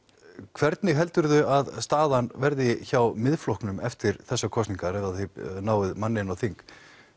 hvernig heldurðu að staðan verði hjá Miðflokknum eftir þessar kosningar ef að þið náið manni inn á þing